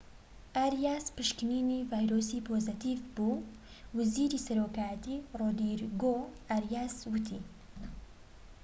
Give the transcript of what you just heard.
ئاریاس پشکنینی ڤایرۆسی پۆزەتیڤ بوو وەزیری سەرۆکایەتی رۆدریگۆ ئاریاس وتی